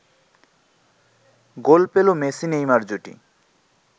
গোল পেল মেসি-নেইমার জুটি